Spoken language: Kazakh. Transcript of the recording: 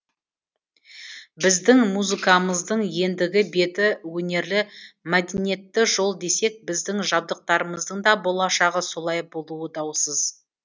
біздің музыкамыздың ендігі беті өнерлі мәдениетті жол десек біздің жабдықтарымыздың да болашағы солай болуы даусыз